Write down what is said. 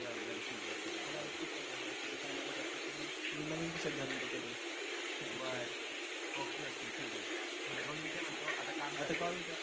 बर बर ठीके मी नवीन T shirt घालून येतो बर okay okay ठीके मग मी काय म्हणतो आता कॉलेज